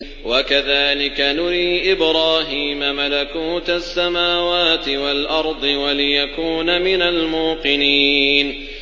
وَكَذَٰلِكَ نُرِي إِبْرَاهِيمَ مَلَكُوتَ السَّمَاوَاتِ وَالْأَرْضِ وَلِيَكُونَ مِنَ الْمُوقِنِينَ